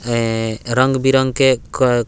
अए रंग-बिरंग के कय --